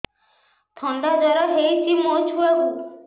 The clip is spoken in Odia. ଥଣ୍ଡା ଜର ହେଇଚି ମୋ ଛୁଆକୁ